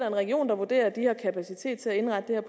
en region vurderer at de har kapacitet til at indrette